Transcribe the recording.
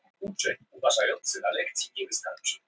Breskur ráðherra sakaður um spillingu